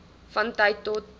van tyd tot